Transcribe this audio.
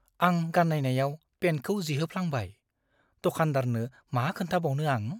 आं गान्नायनायाव पेन्टखौ जिहोफ्लांबाय। दखानदारनो मा खोन्थाबावनो आं?